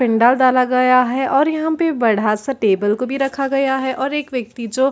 पिण्डाल डाला गया है और यहाँ पे बढ़ा सा टेबल को भी रखा गया है और एक व्यक्ति जो--